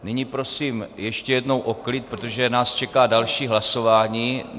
Nyní prosím ještě jednou o klid, protože nás čeká další hlasování.